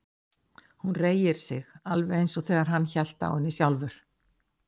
Hún reigir sig alveg eins og þegar hann hélt á henni sjálfur.